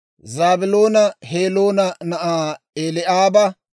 Zaabiloona Heloona na'aa Eli'aaba,